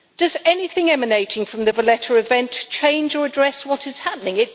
Does anything emanating from the Valletta event change or address what is happening?